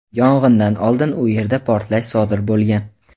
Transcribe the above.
yong‘indan oldin u yerda portlash sodir bo‘lgan.